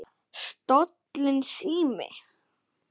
Stolinn sími